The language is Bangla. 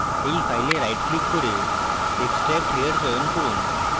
এই file right click করুন এবং extract here চয়ন করুন